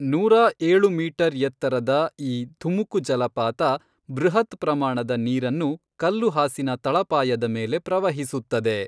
ನೂರಾ ಏಳು ಮೀಟರ್ ಎತ್ತರದ ಈ, ಧುಮುಕು, ಜಲಪಾತ ಬೃಹತ್ ಪ್ರಮಾಣದ ನೀರನ್ನು ಕಲ್ಲುಹಾಸಿನ ತಳಪಾಯದ ಮೇಲೆ ಪ್ರವಹಿಸುತ್ತದೆ..